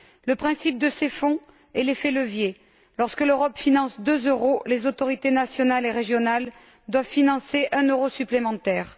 Le principe de ces Fonds est l'effet levier. Lorsque l'Europe finance deux euros, les autorités nationales et régionales doivent financer un euro supplémentaire.